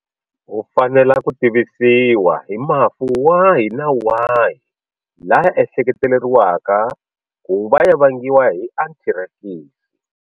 U fanela ku tivisiwa hi mafu wahi na wahi laya ehleketeriwaka ku va ya vangiwa hi anthirakisi.